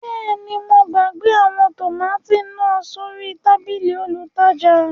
Bẹẹni, mo gbagbe awọn tomati naa sori tabili olútajà